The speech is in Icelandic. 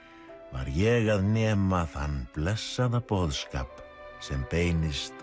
var ég að nema þann blessaða boðskap sem beinist